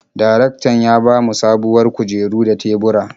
Darektan ya ba mu sabuwar kujeru da tebura.